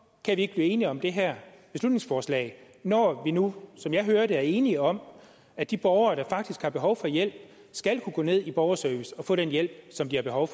kan vi ikke blive enige om det her beslutningsforslag når vi nu som jeg hører det er enige om at de borgere der faktisk har behov for hjælp skal kunne gå ned i borgerservice og få den hjælp som de har behov